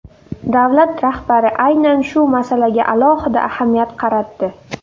Davlat rahbari aynan shu masalaga alohida ahamiyat qaratdi.